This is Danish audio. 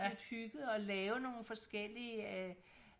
lidt hyggede og lave nogle forskellige øh